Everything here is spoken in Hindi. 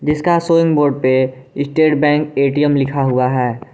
इसका शोइंग बोर्ड पे स्टेट बैंक ए_टी_एम लिखा हुआ है।